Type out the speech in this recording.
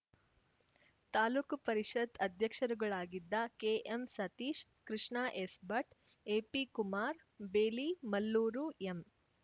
ತಾಲೂಕು ಪರಿಷತ್‌ ಅಧ್ಯಕ್ಷರುಗಳಾಗಿದ್ದ KM Satish Krishna ಎಸ್‌ಭಟ್‌ AP Kumar ಬೇಲಿ Mallur M